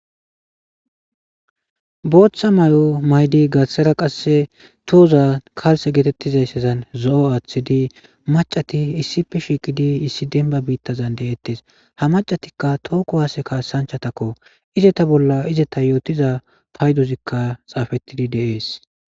Booththa mao' maydi gashsara qasse tohoza kalse geetettizayssezan zo'o aaththidi macati issipe shiiqidi issi denba biittazan de'ettes ha macatikka tooku haase kaassanchatakko izeta bolla izeta yootiza paydozikka xaafettidi dees.